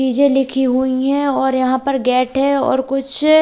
चीजें लिखी हुई हैं और यहां पर गेट है और कुछ--